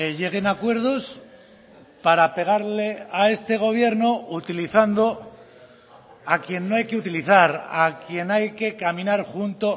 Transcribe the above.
lleguen a acuerdos para pegarle a este gobierno utilizando a quien no hay que utilizar a quien hay que caminar junto